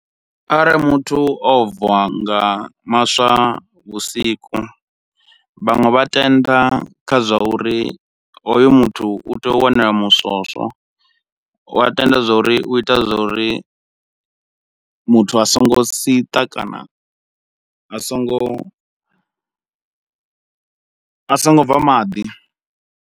Arali muthu o bva nga maswa vhusiku, vhaṅwe vha tenda kha zwa uri hoyu muthu u tea u wana muswoswo, u a tenda zwauri u ita zwa uri muthu a songo siṱa kana a songo a songo bva maḓi.